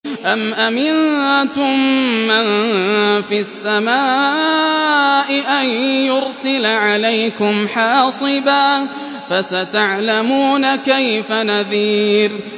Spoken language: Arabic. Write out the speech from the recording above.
أَمْ أَمِنتُم مَّن فِي السَّمَاءِ أَن يُرْسِلَ عَلَيْكُمْ حَاصِبًا ۖ فَسَتَعْلَمُونَ كَيْفَ نَذِيرِ